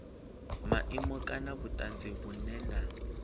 maimo kana vhutanzi vhunwe na